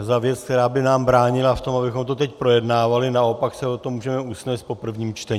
za věc, která by nám bránila v tom, abychom to teď projednávali, naopak se o tom můžeme usnést po prvním čtení.